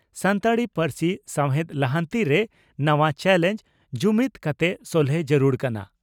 ᱥᱟᱱᱛᱟᱲᱤ ᱯᱟᱹᱨᱥᱤ ᱥᱟᱣᱦᱮᱫ ᱞᱟᱦᱟᱱᱛᱤ ᱨᱮ ᱱᱟᱣᱟ ᱪᱟᱞᱮᱸᱡᱽ ᱺ ᱡᱩᱢᱤᱫᱽ ᱠᱟᱛᱮ ᱥᱚᱞᱦᱮ ᱡᱟᱹᱨᱩᱲ ᱠᱟᱱᱟ